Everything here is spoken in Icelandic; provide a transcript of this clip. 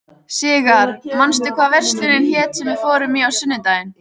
Sigarr, manstu hvað verslunin hét sem við fórum í á sunnudaginn?